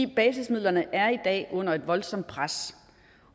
basismidlerne er i dag under et voldsomt pres